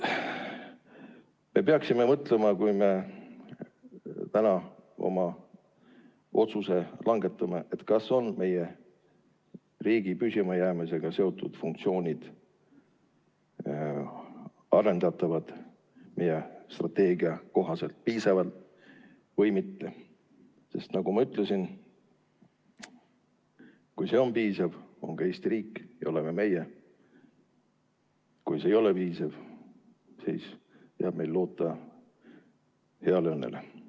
Me peaksime täna otsust langetades mõtlema sellele, kas meie riigi püsimajäämisega seotud funktsioonid on arendatavad, meie strateegia kohaselt piisavad või mitte, sest nagu ma ütlesin: kui see on piisav, siis on ka Eesti riik ja oleme meie, ja kui see ei ole piisav, siis jääb meil loota heale õnnele.